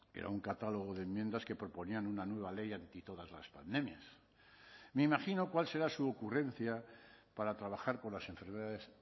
era un catálogo de enmiendas que proponían una nueva ley anti todas las pandemias me imagino cuál será su ocurrencia para trabajar con las enfermedades